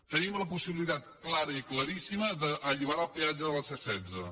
tenim la possibilitat clara i claríssima d’alliberar el peatge de la c setze